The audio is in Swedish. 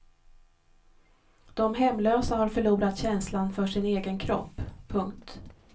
De hemlösa har förlorat känslan för sin egen kropp. punkt